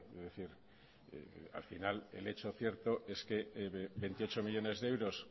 es decir al final el hecho cierto es que veintiocho millónes de euros